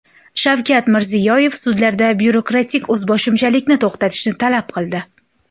Shavkat Mirziyoyev sudlarda byurokratik o‘zboshimchalikni to‘xtatishni talab qildi.